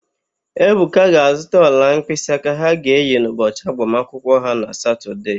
Ebuka ga-azụta ọla mkpịsịaka ha ga-eyi n'ụbọchị agbamakwụkwọ ha na Satọdee.